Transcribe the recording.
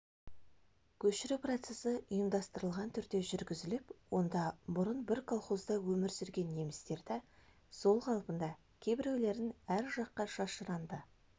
көшіру процесі ұйымдастырылған түрде жүргізіліп онда бұрын бір колхозда өмір сүрген немістерді сол қалпында кейбіреулерін әр жаққа шашыранды